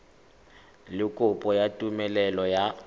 le kopo ya tumelelo ya